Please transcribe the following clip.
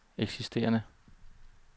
eksisterende